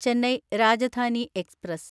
Chennai Rajdhani express